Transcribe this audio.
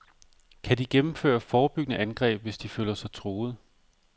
Kan de gennemføre forebyggende angreb, hvis de føler sig truet?